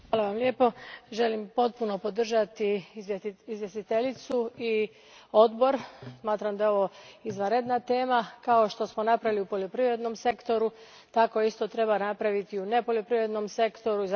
Gospodine predsjedniče, želim potpuno podržati izvjestiteljicu i Odbor. Smatram da je ovo izvanredna tema. Kao što smo napravili u poljoprivrednom sektoru tako isto treba napraviti u nepoljoprivrednom sektoru.